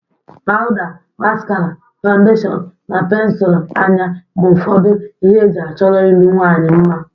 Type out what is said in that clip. Pawda, maskara, fawundeshọn na pensul anya bụ ufọdụ ihe e ji achọ iru nwaanyị mma.